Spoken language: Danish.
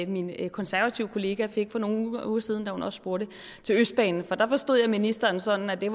min konservative kollega fik for nogle uger siden da hun også spurgte til østbanen for der forstod jeg ministeren sådan at det